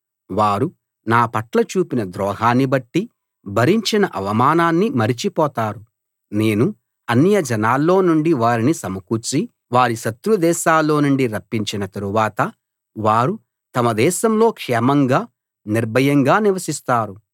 వారు నాపట్ల చూపిన ద్రోహాన్ని బట్టి భరించిన అవమానాన్ని మరచిపోతారు నేను అన్యజనాల్లో నుండి వారిని సమకూర్చి వారి శత్రు దేశాల్లో నుండి రప్పించిన తరువాత వారు తమ దేశంలో క్షేమంగా నిర్భయంగా నివసిస్తారు